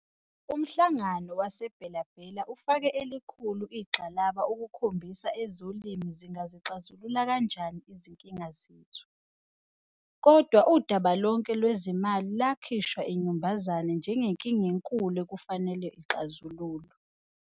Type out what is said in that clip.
Umhlangano wase-Bela-Bela ufake elikhulu igxalaba ukukhombisa ezolimo zingazixazulula kanjani izinkinga zethu, kodwa udaba lonke lwezimali lwakhishwa inyumbazana njengenkinga enkulu okufanele ixazululwe.